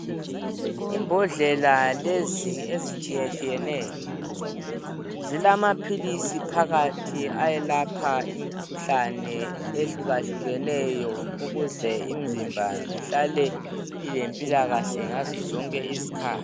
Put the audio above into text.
Imbodlela lezi ezitshiyatshiyeneyo, zilamaphilisi phakathi ayelapha imkhuhlane ehlukahlukeneyo ukuze imzimba ihlale ilempilakahle ngazo zonke izikhathi.